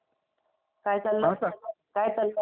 हा हॅलो. काय चाललंय? काय चाललंय काय करतोयेस?